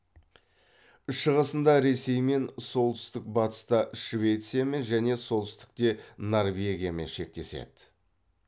шығысында ресеймен солтүстік батыста швециямен және солтүстікте норвегиямен шектеседі